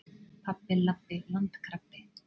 Pabbi- labbi- landkrabbi.